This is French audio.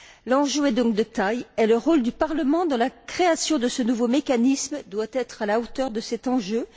L'enjeu est donc de taille et le rôle du Parlement dans la création de ce nouveau mécanisme doit être à la hauteur de cet enjeu.